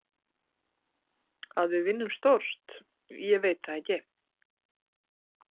Að við vinnum stórt, ég veit það ekki.